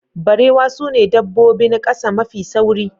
Barewa sune dabbobin ƙasa mafi sauri.